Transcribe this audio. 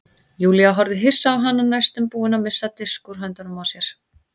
Júlía horfði hissa á hana næstum búin að missa disk úr höndunum á sér.